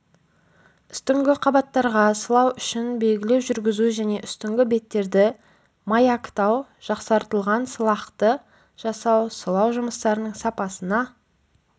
үстіңгі қабаттарға сылау үшін белгілеу жүргізу және үстіңгі беттерді маяктау жақсартылған сылақты жасау сылау жұмыстарының сапасына